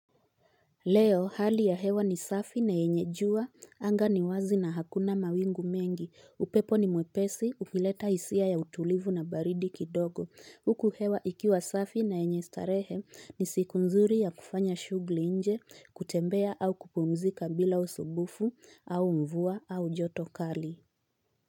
Leo hali ya hewa ni safi na yenye jua, anga ni wazi na hakuna mawingu mengi, upepo ni mwepesi, ukileta hisia ya utulivu na baridi kidogo. Huku hewa ikiwa safi na yenye starehe ni siku nzuri ya kufanya shughuli nje, kutembea au kupumzika bila usumbufu, au mvua, au joto kali.